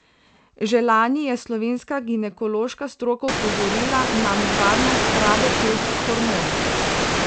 Že lani je slovenska ginekološka stroka opozorila na nevarnost rabe teh hormonov.